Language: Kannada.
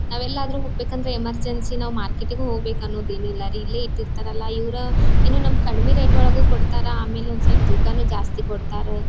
ನಾವು ಎಲ್ಲಾದ್ರೂ ಹೋಗ್ಬೇಕೆಂದ್ರೆ ಎಮರ್ಜೆನ್ಸಿ ಗೆ ನಾವು ಮಾರ್ಕೆಟ್ಗೆ ಹೋಗದೇನು ಇಲ್ಲ ರೀ ಇಲ್ಲೇ ಇಟ್ಟಿರ್ತಾರೆಲ್ಲ ಇವರೇ ಇನ್ನು ನಮಗೆ ಕಡಿಮೆ ರೇಟ್ ಒಳಗೆ ಕೊಡ್ತಾರಾ ಆಮೇಲೆ ಸ್ವಲ್ಪ ತೂಕನು ಜಾಸ್ತಿ ಕೊಡ್ತಾರಾ.